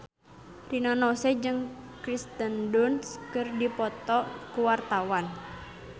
Rina Nose jeung Kirsten Dunst keur dipoto ku wartawan